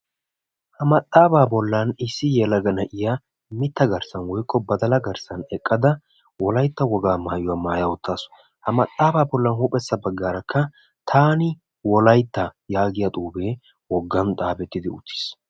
ha maxaafaa bolan issi yelaga na'iya mita garsan woykko badalla garssan eqada wolaytta wogaa maayuwa mayada eqaasu. ippekka bolla bagaara taani wolaytta giya xuufee beetees.